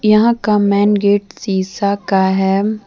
यहां का main gate शीशा का है।